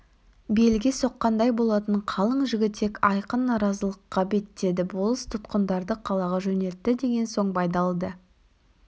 белге соққандай болатын қалың жігітек айқын наразылыққа беттеді болыс тұтқындарды қалаға жөнелтті деген соң байдалы да